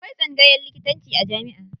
Akwai tsangayan likitanci a jamiʼa.